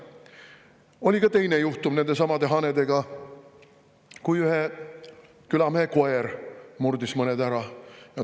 Oli ka teine juhtum nendesamade hanedega, kui ühe külamehe koer murdis mõned ära.